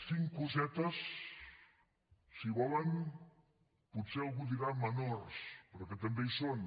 cinc cosetes si volen potser algú en dirà menors però que també hi són